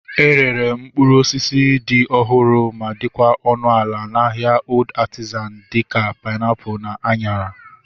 E rere mkpụrụ osisi dị ọhụrụ ma dịkwa ọnụ ala na ahịa Old Artizan dịka painiapulu na anyara